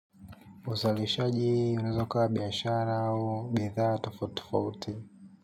Uzalishaji unaweza ukawa biashara au bidhaa tofauti tofauti.